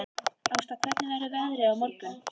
Ásta, hvernig verður veðrið á morgun?